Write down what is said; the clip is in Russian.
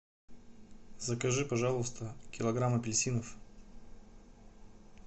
закажи пожалуйста килограмм апельсинов